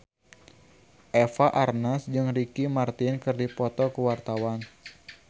Eva Arnaz jeung Ricky Martin keur dipoto ku wartawan